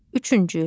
Üçüncü.